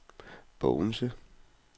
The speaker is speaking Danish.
Bogense